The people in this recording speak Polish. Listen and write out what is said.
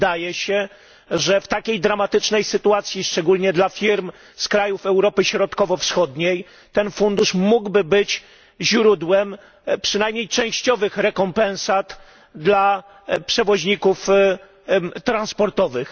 Wydaje się, że w takiej dramatycznej sytuacji, szczególnie dla firm z krajów Europy Środkowo Wschodniej, ten fundusz mógłby być źródłem przynajmniej częściowych rekompensat dla przewoźników transportowych.